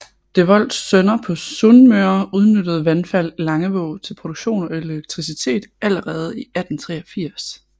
Devolds Sønner på Sunnmøre udnyttede vandfald i Langevåg til produktion af elektricitet allerede i 1883